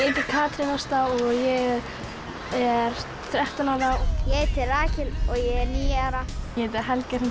heiti Katrín Ásta og ég er þrettán ára ég heiti Rakel og ég er níu ára ég heiti Helga Hrund